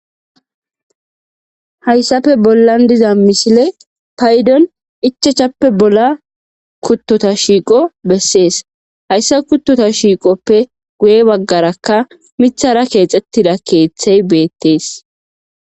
hayssappe bollan diza misiley payddon ichachchappe bolla kuttota shiiqo bessees hayssa kuttota shiiqoppe guye baggarakka miiththara keexettidda keeththey beettees